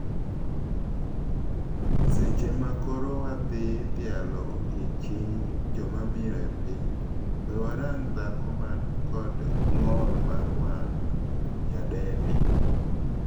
Seche ma koro wadhi dhialo odiochieng' jomamiyo epiny, wee warang dhako man kod ng'ol mar wang',Nyadendi.